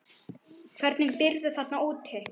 Hvernig býrðu þarna úti?